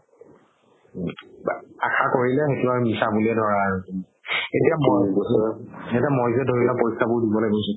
আশা কৰিলে সেইটো আৰ মিচা বুলিয়ে ধৰা আৰু তুমি এতিয়া মই যে ধৰিলোৱা পৰীক্ষা বোৰ দিবলৈ গৈছো